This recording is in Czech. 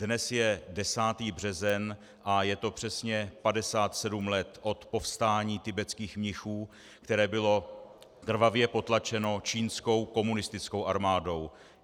Dnes je 10. březen a je to přesně 57 let od povstání tibetských mnichů, které bylo krvavě potlačeno čínskou komunistickou armádou.